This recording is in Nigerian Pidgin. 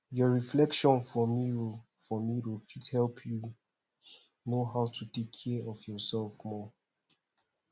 your reflection for mirror for mirror fit help you know how to take care of your self more